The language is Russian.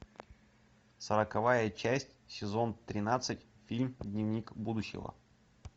сороковая часть сезон тринадцать фильм дневник будущего